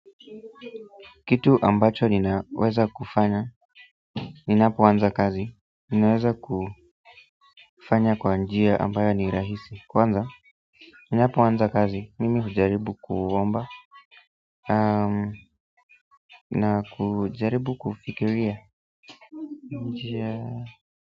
Kitu ambacho ninaweza kufanya ninapoanza kazi ninaweza kufanya kwa njia ambayo ni rahisi. Kwanza ninapoanza kazi mimi hujaribu kuomba na kujaribu kufikiria njia.